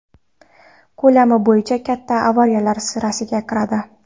Ko‘lami bo‘yicha katta avariyalar sirasiga kiradi.